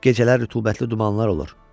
Gecələr rütubətli dumanlar olur.